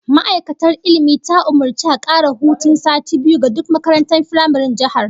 Ma'aikatar Ilmi ta umurci a kara hutun sati biyu ga duk makarantun firamaren jihar